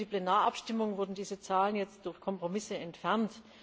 Für die Plenarabstimmung wurden diese Zahlen jetzt durch Kompromisse entfernt.